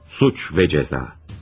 Cinayət və Cəza.